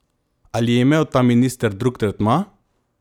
Ali je imel ta minister drug tretma?